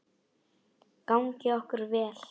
Gangi okkur vel.